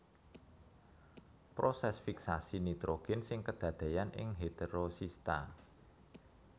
Proses fiksasi nitrogen sing kadadéyan ing heterosista